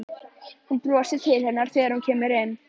Hún brosir til hennar þegar hún kemur inn.